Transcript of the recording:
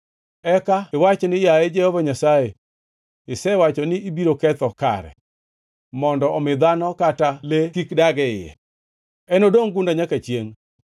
Eka iwachi ni, yaye Jehova Nyasaye, isewacho ni ibiro ketho kae, mondo omi dhano kata le kik dag e iye; enodongʼ gunda nyaka chiengʼ.